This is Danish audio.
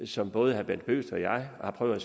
som både herre bent bøgsted og jeg har prøvet at